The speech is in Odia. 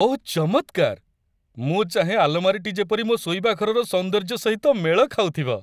ଓଃ ଚମତ୍କାର ! ମୁଁ ଚାହେଁ ଆଲମାରୀଟି ଯେପରି ମୋ ଶୋଇବା ଘରର ସୌନ୍ଦର୍ଯ୍ୟ ସହିତ ମେଳ ଖାଉଥିବ।